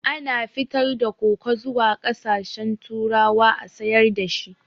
Ana fitar da koko zuwa ƙasashen turawa a sayar dashi